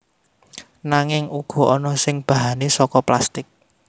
Nanging uga ana sing bahane saka plastik